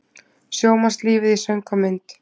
Sjómannslífið í söng og mynd